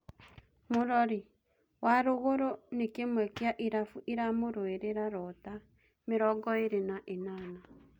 (Mũrori) WaRũgũrũ nĩkĩmwe kĩa irabu iramũrũĩrĩra Rota, mĩrongoĩrĩ na ĩnana.